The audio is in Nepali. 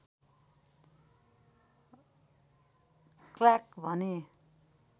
क्लार्क भने